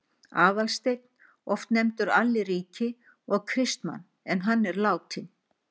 Aðalsteinn, oft nefndur Alli ríki, og Kristmann en hann er látinn.